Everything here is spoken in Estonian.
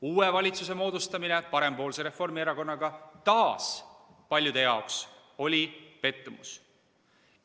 Uue valitsuse moodustamine parempoolse Reformierakonnaga oli taas paljude jaoks pettumus.